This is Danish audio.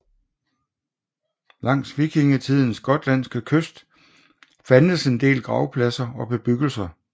Langs vikingtidens gotlandske kyst fandtes en del gravpladser og bebyggelser